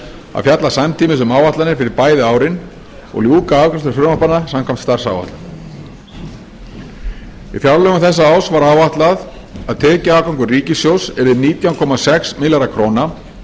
að fjalla samtímis um áætlanir fyrir bæði árin og ljúka afgreiðslu frumvarpanna samkvæmt starfsáætlun í fjárlögum þessa árs var áætlað að tekjuafgangur ríkissjóðs yrði nítján komma sex milljarðar króna